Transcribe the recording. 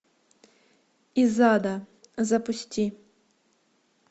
из ада запусти